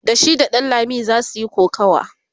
da shi da ɗanlami zasu Yi kokawa